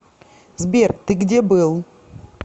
сбер ты где был